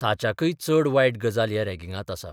ताच्याकय चड वायट गजाल ह्या रॅगिंगांत आसा.